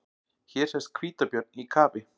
Hér sést hvítabjörn í kafi.